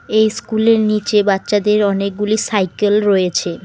এই স্কুল -এর নীচে বাচ্চাদের অনেকগুলি সাইকেল রয়েছে।